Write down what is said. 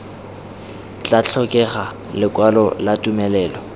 tla tlhokega lekwalo la tumelelo